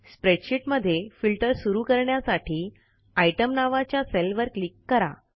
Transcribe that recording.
spreadsheet मध्ये filter सुरू करण्यासाठी आयटीईएम नावाच्या सेलवर क्लिक करा